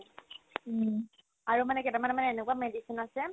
উম, আৰু মানে কেইটামান মানে এনেকুৱা medicine আছে